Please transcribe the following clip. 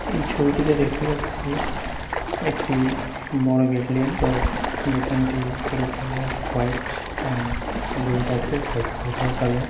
এই ছবিটিতে দেখতে পাচ্ছিএকটিবড় বিল্ডিং বিল্ডিংট রপুরো কালার হোয়াইট এন্ড রেড আছে সাইট বডার কালার ।